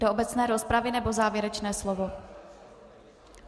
Do obecné rozpravy, nebo závěrečné slovo?